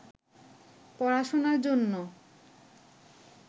পড়াশোনার জন্য